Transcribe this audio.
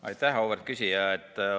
Aitäh, auväärt küsija!